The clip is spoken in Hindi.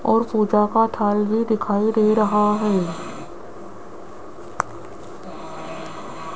और पूजा का थाल भी दिखाई दे रहा है।